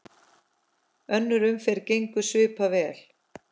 Önnur umferð gengur svipað vel.